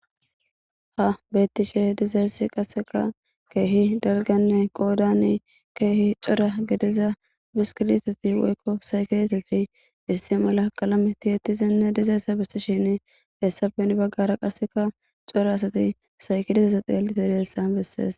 ha beettishe dizaessi qaseka keehi dalganne qoodani keehcora gediza biskirteti woykko saykeeteti issi mala qalameti ettizenne dizaessa bessishin hessafen baggara qasseka cora asati sayki dizesa xeelite deessa bessees